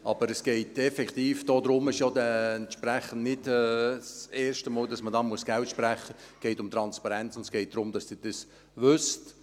Aber es geht effektiv um Transparenz – es ist entsprechend nicht das erste Mal, dass man hier Geld sprechen muss –, und es geht darum, dass Sie dies wissen.